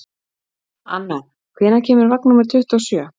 Anna, hvenær kemur vagn númer tuttugu og sjö?